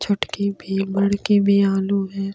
छोटे भी बडके भी यहा लोग है ।